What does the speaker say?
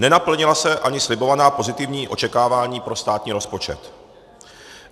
Nenaplnila se ani slibovaná pozitivní očekávání pro státní rozpočet.